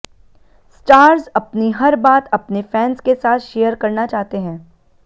stars अपनी हर बात अपने फैन्स के साथ शेयर करना चाहते हैं